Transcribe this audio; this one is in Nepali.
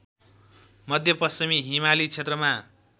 मध्यपश्चिमी हिमाली क्षेत्रमा